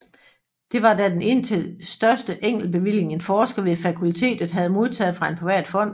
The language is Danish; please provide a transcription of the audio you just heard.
Det var da den indtil største enkeltbevilling en forsker ved fakultetet havde modtaget fra en privat fond